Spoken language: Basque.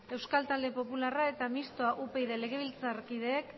euskal talde popularra eta mistoa upyd legebiltzar kideek